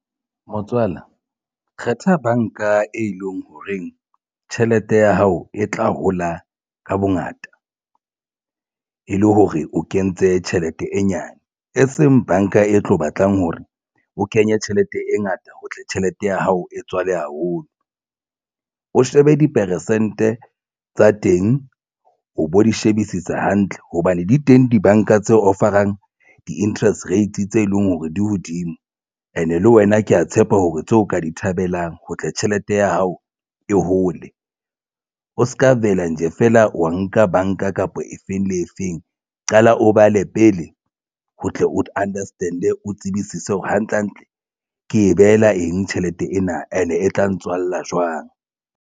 Motswala kgetha banka e leng ho reng tjhelete ya hao e tla hola ka bongata e le hore o kentse tjhelete e nyane e seng banka e tlo batlang hore o kenye tjhelete e ngata ho tle tjhelete ya hao e tswale haholo, o shebe di peresente tsa teng o bo di shebisisa hantle hobane di teng. Dibanka tse offer-ang di-nterest rates tse leng hore di hodimo and e le wena ke ya tshepa hore tseo ka di thabelang ho tla tjhelete ya hao e hole o se ka vele nje feela wa nka banka kapa efeng le efeng. Qala o bale pele ho tle o understand e o tsebise seo hantlehantle, Ke behela eng tjhelete ena and e tla ntswalla jwang.